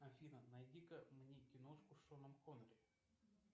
афина найди ка мне киношку с шоном коннери